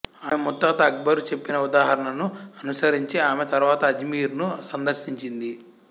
ఆమె ముత్తాత అక్బరు చెప్పిన ఉదాహరణను అనుసరించి ఆమె తరువాత అజ్మీరును సందర్శించింది